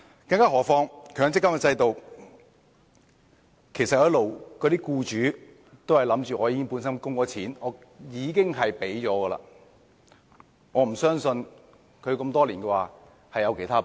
更何況，在強積金制度下，僱主一直認為他們已經供款，已經給了錢，我不相信他們會有其他撥備。